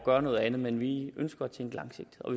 gøre noget andet men vi ønsker at tænke langsigtet og